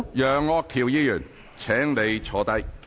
楊岳橋議員，請你坐下。